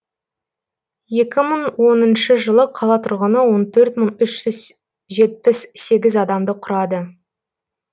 екі мың оныншы жылы қала тұрғыны он төрт мың үш жүз жетпіс сегіз адамды құрады